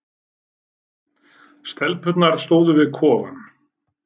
Stelpurnar stóðu við kofann.